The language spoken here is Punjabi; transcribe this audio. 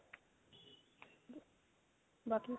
ਬਾਕੀ